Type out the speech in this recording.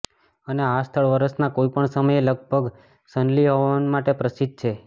અને આ સ્થળ વર્ષનાં કોઈ પણ સમયે લગભગ સનલી હવામાન માટે પ્રસિદ્ધ છે